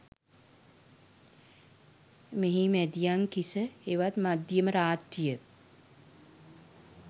මෙහි මැදියම් කිස හෙවත් මධ්‍යම රාත්‍රිය